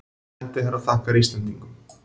Sendiherra þakkar Íslendingum